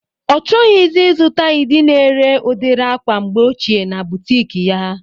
Ọ chọghọzi izuta ịdị na-ere udiri akwa mgbe ochie na butik ya